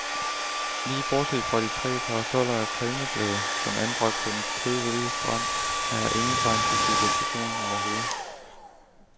Lige bortset fra de tre parasoller af palmeblade, som er anbragt på den kridhvide strand, er her ingen tegn på civilisation overhovedet.